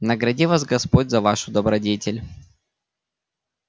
награди вас господь за вашу добродетель